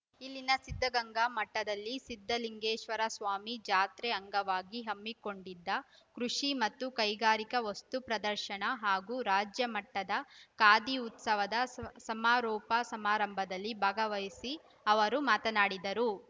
ಇಲ್ಲಿನ ಸಿದ್ದಗಂಗಾ ಮಠದಲ್ಲಿ ಸಿದ್ದಲಿಂಗೇಶ್ವರಸ್ವಾಮಿ ಜಾತ್ರೆ ಅಂಗವಾಗಿ ಹಮ್ಮಿಕೊಂಡಿದ್ದ ಕೃಷಿ ಮತ್ತು ಕೈಗಾರಿಕಾ ವಸ್ತು ಪ್ರದರ್ಶನ ಹಾಗೂ ರಾಜ್ಯಮಟ್ಟದ ಖಾದಿ ಉತ್ಸವದ ಸು ಸಮಾರೋಪ ಸಮಾರಂಭದಲ್ಲಿ ಭಾಗವಹಿಸಿ ಅವರು ಮಾತನಾಡಿದರು